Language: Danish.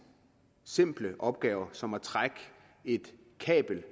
simple opgaver som at trække et kabel